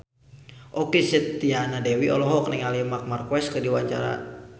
Okky Setiana Dewi olohok ningali Marc Marquez keur diwawancara